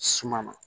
Suma na